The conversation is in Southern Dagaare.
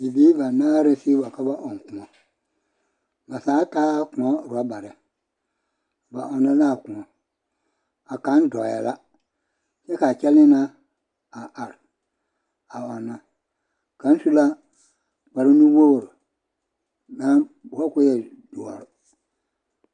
Bibiiri banaare sigi wa ka ba ɔŋ kõɔ, ba zaa taɛ kõɔ orɔbare, ba ɔnnɔ naa kõɔ a kaŋ dɔɔ yɛ la kyɛ k'a kyɛlee na a are a ɔnnɔ kaŋ su la kpare nu-wogiri naŋ boɔre k'o e doɔre.